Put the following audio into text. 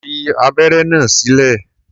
Fi abẹ́ré náà sílẹ̀!